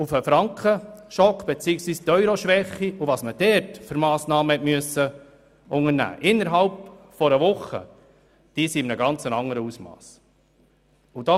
Als der Frankenschock beziehungsweise die Euro-Schwäche kam, musste man innerhalb einer Woche Massnahmen in einem ganz anderen Ausmass treffen.